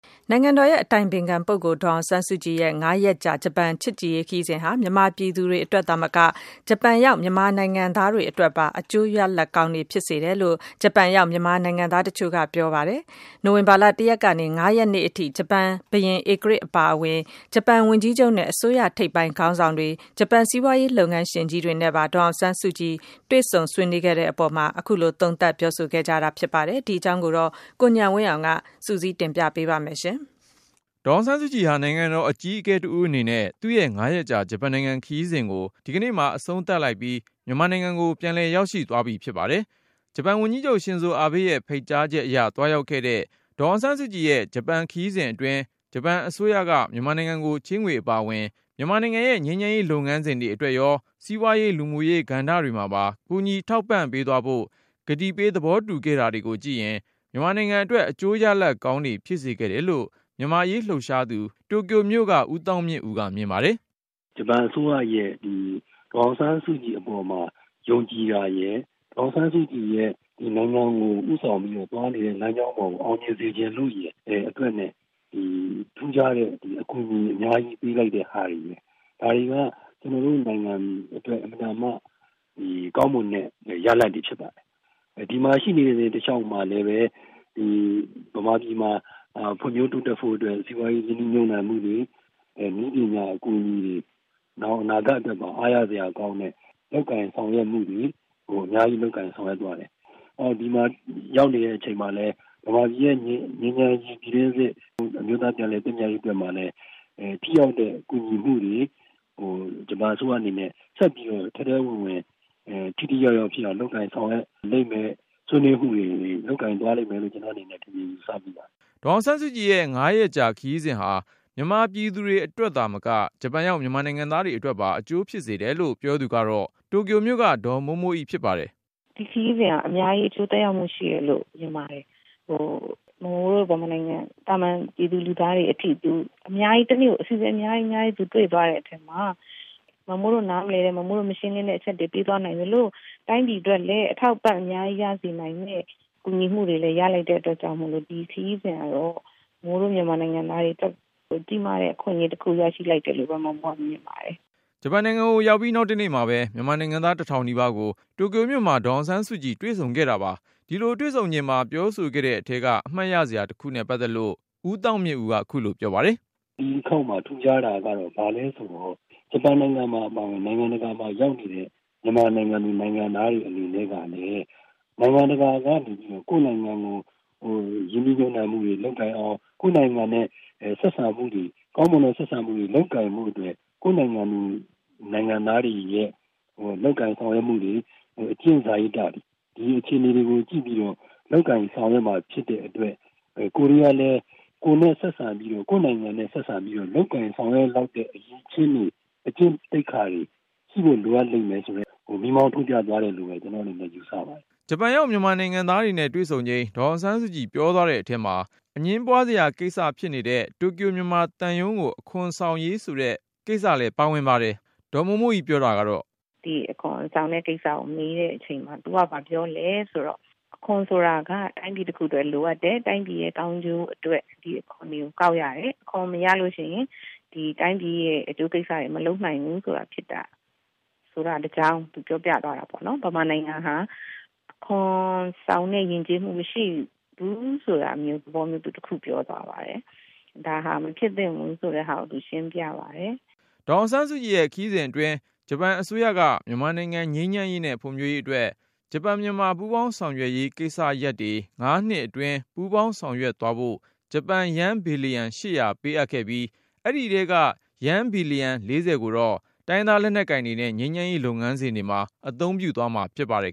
နိုင်ငံတော်အတိုင်ပင်ခံပုဂ္ဂိုလ် ဒေါ်အောင်ဆန်းစုကြည်ရဲ့ ၅ ရက်ကြာ ဂျပန်နိုင်ငံ ချစ်ကြည်ရေးခရီးစဉ်ဟာ မြန်မာပြည်သူတွေအတွက်သာမက ဂျပန်ရောက် မြန်မာနိုင်ငံသားတွေ အတွက်ပါ အကျိုးရလဒ်ကောင်းတွေ ဖြစ်စေခဲ့တယ်လို့ ဂျပန်ရောက် မြန်မာနိုင်ငံသား တချို့က ပြောဆို ပါတယ်။ နိုဝင်ဘာ ၁ ရက်ကနေ ၅ ရက်နေ့ထိ ဂျပန်ဘုရင်ဧကရာဇ် အပါအဝင်၊ ဂျပန်ဝန်ကြီးချုပ်နဲ့ အစိုးရထိပ်ပိုင်းခေါင်းဆောင်တွေ ၊ ဂျပန် စီးပွားရေးလုပ်ငန်းရှင်ကြီးတွေနဲ့ပါ ဒေါ်အောင်ဆန်းစုကြည် တွေ့ဆုံ ဆွေးနွေးခဲ့တဲ့အပေါ် သုံးသပ်ပြောဆိုလိုက်ကြတာပါ။ ဒီအကြောင်းကိုတော့ ကိုဉာဏ်ဝင်းအောင်က တင်ပြမှာ ဖြစ်ပါတယ်။ ဒေါ်အောင်ဆန်းစုကြည်ဟာ နိုင်ငံတော်အကြီးအကဲတဦးအနေနဲ့ သူ့ရဲ့ ၅ ရက်ကြာ ဂျပန်နိုင်ငံချစ်ကြည်ရေး ခရီးစဉ်ကို ဒီကနေ့မှာ အဆုံးသတ် လိုက်ပြီး မြန်မာနိုင်ငံကို ပြန်လည်ရောက်ရှိ သွားပြီဖြစ်ပါတယ်။ ဂျပန်ဝန်ကြီးချုပ် ရှင်ဇိုအာဘေးရဲ့ ဖိတ်ကြားချက်အရ သွားရောက်ခဲ့တဲ့ ဒေါ်အောင်ဆန်းစုကြည်ရဲ့ ဂျပန်ခရီးစဉ်အတွင်း ဂျပန်အစိုးရက မြန်မာနိုင်ငံကို ချေးငွေအပါအဝင် မြန်မာနိုင်ငံရဲ့ ငြိမ်းချမ်းရေးလုပ်ငန်းစဉ်တွေ အတွက်ရော၊ စီးပွားရေး လူမှုရေးကဏ္ဍတွေမှာပါ ကူညီထောက်ပံ့သွားဖို့ ကတိပေး သဘောတူခဲ့တာတွေကို ကြည့်ရင်၊ မြန်မာနိုင်ငံအတွက် အကျိုးရလဒ်ကောင်းတွေ ဖြစ်စေခဲ့တယ်လို့ မြန်မာ့အရေးလှုပ်ရှားသူ တိုကျိုမြို့က ဦးသောင်းမြင့်ဦးက မြင်ပါတယ်။ “ ဂျပန်အစိုးရက ဒေါ်အောင်ဆန်းစုကြည်အပေါ် ယုံကြည်တာရယ်၊ ဒေါ်အောင်ဆန်းစုကြည်က နိုင်ငံတော်ကို ဦးဆောင်ပြီးတော့ သွားနေတဲ့ လမ်းကြောင်းကို အောင်မြင်စေချင်လို့ရယ် အတွက်.. အခုလို ထူးခြားစွာ အကူအညီတွေ ပေးလိုက်တာပဲ။ ဒါတွေက ကျနော်တို့ နိုင်ငံအတွက် ကောင်းမွန်တဲ့ ရလဒ်တွေဖြစ်ပါတယ်။ ဒီမှာ သူရှိနေတဲ့ တလျှောက်မှာလည်းပဲ မြန်မာပြည်မှာ ဖွံ့ဖြိုးတိုးတက်ဖို့အတွက် စီးပွားရေး ရင်းနှီးမြှုပ်နှံ မှုတွေ နည်းပညာအကူအညီတွေ နောင်အနာဂတ်အတွက် အားရစရာကောင်းတာတွေ အများကြီးလုပ်ဆောင်သွားတယ်။ မြန်မာပြည်ရဲ့ ပြည်တွင်း စစ် ငြိမ်းချမ်းရေး၊ အမျိုးသား ပြန်လည်သင့်မြတ်ရေးအတွက်မှာလည်း ထိရောက်တဲ့ ကူညီမှုတွေကို ဂျပန်အစိုးရအနေနဲ့ ဆက်ပြီးတော့ ထဲထဲဝင်ဝင် ထိထိရောက်ရောက် ဖြစ်အောင် လုပ်ကိုင်ဆောင်ရွက်လိမ့်မယ် ဆွေးနွေးမှုတွေ လုပ်သွားလိမ့်မယ်လို့ ကျနော် မြင်မိပါတယ်” ဒေါ်အောင်ဆန်းစုကြည်ရဲ့ ၅ ရက်ကြာ ခရီးစဉ်ဟာ မြန်မာပြည်သူတွေအတွက်သာမက ဂျပန်ရောက် မြန်မာနိုင်ငံသားတွေ အတွက်ပါ အကျိုး ဖြစ်စေတယ်လို့ ပြောသူကတော့ တိုကျိုမြို့က ဒေါ်မိုးမိုးအိဖြစ်ပါတယ်။ “ဒီခရီးစဉ်ဟာ အများကြီး အကျိုးသက်ရောက်မှု ရှိတယ်လို့ မြင်ပါတယ်။ မမိုးတို့ မြန်မာနိုင်ငံ သာမန်ပြည်သူ ပြည်သားတွေအထိ တနေ့ကို သူ အစီအစဉ် အများကြီးတွေ့သွားတဲ့ အထဲမှာ ကိုယ်နားမလည်တဲ့ မရှင်းလင်းတဲ့ အချက်တွေ ရှင်းပြသွားနိုင်သလို၊ တိုင်းပြည်အတွက်လဲ အထောက်အပံ့ အများကြီးရစေနိုင်တဲ့ အကူအညီတွေလည်း ရလိုက်တဲ့ အတွက်ကြောင့်မို့ ဒီခရီးစဉ်ကတော့ မမိုးတို့ မြန်မာနိုင်ငံသားတွေ အတွက် ကြီးမားတဲ့ အခွင့်အရေးတခု ရလိုက်တယ်လို့ပဲ မြင်ပါတယ်” ဂျပန်နိုင်ငံကို ရောက်ပြီးနောက်တနေ့မှာပဲ မြန်မာနိုင်ငံသား တထောင်နီးပါးကို တိုကျိုမြို့မှာ ဒေါ်အောင်ဆန်းစုကြည်တွေ့ဆုံခဲ့တာပါ။ ဒီလိုတွေ့ ဆုံချိန် ပြောဆိုခဲ့တဲ့အထဲက အမှတ်ရစရာတခုနဲ့ ပတ်သက်ပြီး ဦးသောင်းမြင့်ဦးက ခုလိုပြောပါတယ်။ “ ဒီတခေါက်မှာ ထူးခြားတာ ဘာလဲဆိုတော့ ဂျပန်အပါအဝင် နိုင်ငံတကာမှာ ရောက်နေတဲ့ မြန်မာနိုင်ငံသူ နိုင်ငံသားတွေ အနေနဲ့ကလည်း နိုင်ငံတကာကနေ ကိုယ့်နိုင်ငံမှာ ရင်းနှီးမြှုပ်နှံမှုတွေ လုပ်လာအောင်၊ ကိုယ်နိုင်ငံနဲ့ ကောင်းမွန်တဲ့ ဆက်ဆံမှုတွေ လုပ်နိုင်ဖို့အတွက်ဆိုရင် ကိုယ့်နိုင်ငံသားတွေရဲ့ လုပ်ကိုင်ဆောင်ရွက်မှုတွေ၊ အကျင့်စာရိတ္တတွေ၊ ဒီအခြေအနေတွေကို ကြည့်ပြီးတော့ လုပ်ကိုင်ဆောင်ရွက်မှာ ဖြစ်တဲ့ အတွက် ကိုယ်တွေကလည်း ကိုယ့်နိုင်ငံနဲ့ ဆက်ဆံပြီးတော့ လုပ်ကိုင်ဆောင်ရွက်လောက်တဲ့ အရည်အချင်းတွေ အကျင့်သိက္ခာတွေ ရှိဖို့ လိုအပ်တယ် ဆိုတာကို မီးမောင်းထိုးပြသွားတယ် ” ဂျပန်ရောက် မြန်မာနိုင်ငံသားတွေနဲ့ တွေ့ဆုံချိန် ဒေါ်အောင်ဆန်းစုကြည်ပြောသွားတဲ့အထဲမှာ တိုကျိုမြန်မာသံရုံးကို အခွန်ဆောင်ဖို့ ဆိုတဲ့ကိစ္စ လည်း ပါဝင်ပါတယ်။ ဒေါ်မိုးမိုးအိ ပြောတာကတော့ - “ ဒီအခွန်ဆောင်တဲ့ကိစ္စကို မေးတဲ့အချိန်မှာ သူက ဘာပြောလဲဆိုတော့ - အခွန်ဆိုတာက တိုင်းပြည်တခုအတွက် လိုအပ်တယ်။ တိုင်းပြည်ရဲ့ ကောင်းကျိုးအတွက် ဒီအခွန်တွေကို ကောက်ရတယ်။ အခွန်မရလို့ရှိရင် ဒီတိုင်းပြည်ရဲ့ အကျိုးကိစ္စတွေ မလုပ်နိုင်ဘူးဆိုတာ သူပြောပြသွား တာပေါ့နော်။ မြန်မာနိုင်ငံဟာ အခွန်ဆောင်တဲ့ ယဉ်ကျေးမှု မရှိဘူးဆိုတဲ့သဘောမျိုး သူပြောသွားပါတယ်။ ဒါဟာ မဖြစ်သင့်ဘူးဆိုတာကို သူရှင်းပြပါတယ် ” ဒေါ်အောင်ဆန်းစုကြည် ခရီးစဉ်အတွင်း ဂျပန်အစိုးရက မြန်မာနိုင်ငံ ငြိမ်းချမ်းရေးနဲ့ ဖွံ့ဖြိုးရေးအတွက် ဂျပန်မြန်မာ ပူးပေါင်းဆောင်ရွက်ရေးကိစ္စ ရပ်တွေ ၅ နှစ်အတွင်းပူးပေါင်းဆောင်ရွက်သွားဖို့ ဂျပန်ယန်း ဘီလျံ ၈၀၀ ပေးခဲ့ပြီး၊ အဲဒီအထဲက ယန်း ဘီလျံ ၄၀ ကိုတော့ တိုင်းရင်းသား လက်နက်ကိုင်တွေနဲ့ ငြိမ်းချမ်းရေး လုပ်ငန်းစဉ်တွေမှာ အသုံးပြုသွားဖို့ ဖြစ်ပါတယ်